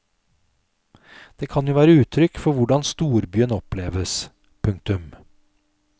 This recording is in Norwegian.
Det kan jo være uttrykk for hvordan storbyen oppleves. punktum